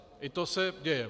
I to se děje.